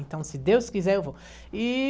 Então, se Deus quiser, eu vou. E...